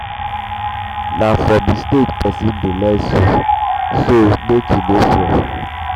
um na from mistake pesin dey learn so make you no fear.